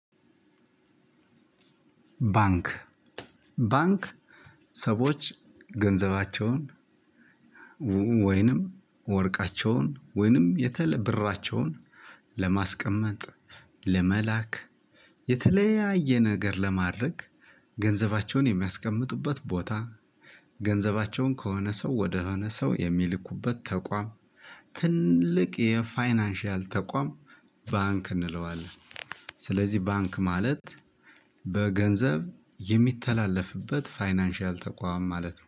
ባንክ ባንክ ሰዎች ገንዘባቸውን ወይም ወርቃቸውን ወይም ብራቸውን ለማስቀመጥ ለመላክ የተለያየ ነገር ለማድረግ ገንዘባቸውን የሚያስቀምጡበት ቦታ ገንዘባቸውን ከሆነ ሰው ወደ ሆነ ሰው የሚልኩበት ተቋም ትልቅ የፋይናንሻል ተቋም ባንክ እንለዋለን። ስለዚህ ባንክ ማለት በገንዘብ የሚተላለፍበት ፋይናንሻል ተቋም ማለት ነው